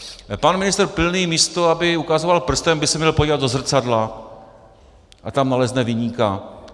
Pan ministr Pilný, místo aby ukazoval prstem, by se měl podívat do zrcadla a tam nalezne viníka.